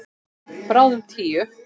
Bráðum tíu.